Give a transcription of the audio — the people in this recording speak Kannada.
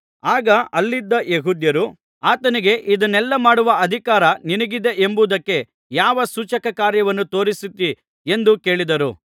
ಆಗ ಅಲ್ಲಿದ್ದ ಯೆಹೂದ್ಯರು ಆತನಿಗೆ ಇದನ್ನೆಲ್ಲಾ ಮಾಡುವ ಅಧಿಕಾರ ನಿನಗಿದೆ ಎಂಬುದಕ್ಕೆ ಯಾವ ಸೂಚಕಕಾರ್ಯವನ್ನು ತೋರಿಸುತ್ತೀ ಎಂದು ಕೇಳಿದರು